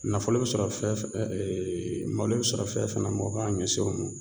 Nafolo bɛ sɔrɔ fɛn malo bɛ sɔrɔ fɛn fɛn na o k'an ɲɛsin o ma